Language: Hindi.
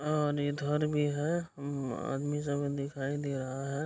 और इधर भी है आदमी सब दिखाई दे रहा है |